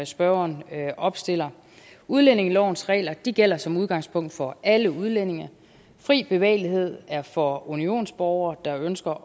spørgeren opstiller udlændingelovens regler gælder som udgangspunkt for alle udlændinge fri bevægelighed er for unionsborgere der ønsker